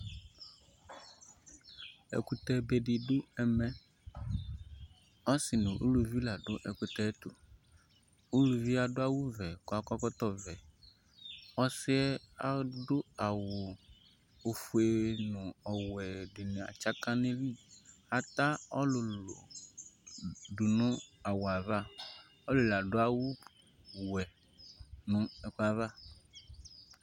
Ɛkutɛ be di du ɛmɛ Ɔsi nu uluʋi la du ɛkutɛ tu Uluʋie adu awu ʋɛ ku akɔ ɛkɔtɔ ʋɛ Ɔsiɛ adu awu ofue nu ɔwɛ dini atsaka ne lɩ Ata ɔlulu du nu awu aʋa, ɔlulu adu awu wɛ nu ɛkuɛ aʋa